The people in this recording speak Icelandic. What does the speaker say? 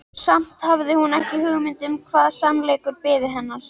Samt hafði hún ekki hugmynd um hvaða sannleikur biði hennar.